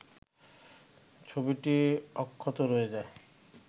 ছবিটি অক্ষত রয়ে যায়